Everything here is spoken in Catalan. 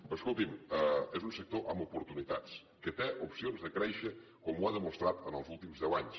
però escolti’m és un sector amb oportunitats que té opcions de créixer com ho ha demostrat els últims de anys